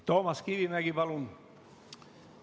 Toomas Kivimägi, palun!